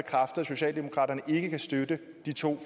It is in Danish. socialdemokraterne ikke kan støtte de to